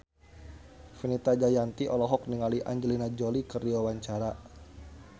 Fenita Jayanti olohok ningali Angelina Jolie keur diwawancara